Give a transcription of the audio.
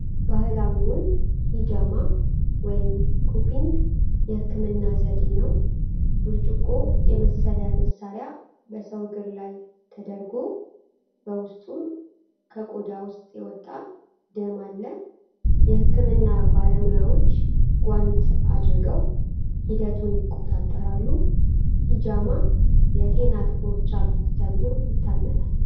ባህላዊውን ሒጃማ ወይም ኩፒንግ የሕክምና ዘዴ ነው። ብርጭቆ የመሰለ መሣሪያ በሰው እግር ላይ ተደርጓል፣ በውስጡም ከቆዳ ውስጥ የወጣ ደም አለ። የሕክምና ባለሙያዎች ጓንት አድርገው ሂደቱን ይቆጣጠራሉ። ሒጃማ የጤና ጥቅሞች አሉት ተብሎ ይታመናል።